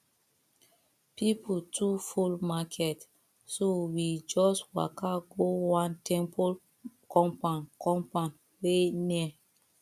people too full market so we just waka go one temple compound compound wey near